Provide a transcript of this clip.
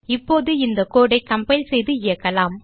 இப்போது இந்த கோடு ஐ கம்பைல் செய்து இயக்கலாம்